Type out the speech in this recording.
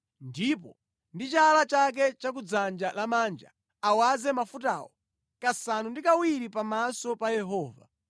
ndipo ndi chala chake cha ku dzanja lamanja awaze mafutawo kasanu ndi kawiri pamaso pa Yehova.